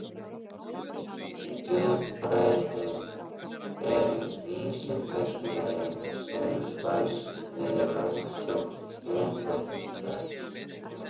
Þjóðfræði er vísindagrein sem fæst við rannsókn þjóðmenningar.